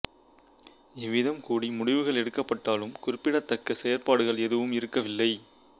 இவ்விதம் கூடி முடிவுகள் எடுக்கப்பட்டாலும் குறிப்பிடத்தக்க செயற்பாடுகள் எதுவும் இருக்கவில்லை